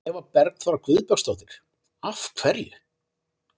Eva Bergþóra Guðbergsdóttir: Af hverju?